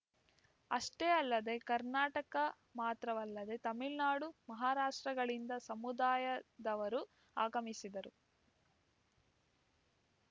ಅಷ್ಟೇ ಅಲ್ಲದೆ ಕರ್ನಾಟಕ ಮಾತ್ರವಲ್ಲದೇ ತಮಿಳ್ ನಾಡು ಮಹಾರಾಷ್ಟ್ರಗಳಿಂದ ಸಮುದಾಯದವರು ಆಗಮಿಸಿದ್ದರು